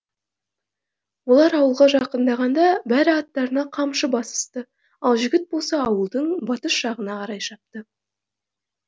олар ауылға жақындағанда бәрі аттарына қамшы басысты ал жігіт болса ауылдың батыс жағына қарай шапты